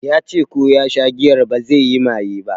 Ya ce ko ya sha giyar bazai yi maye ba